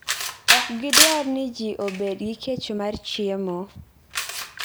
Ok gidwar ni ji obed gi kech mar chiemo.